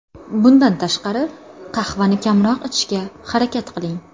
Bundan tashqari, qahvani kamroq ichishga harakat qiling.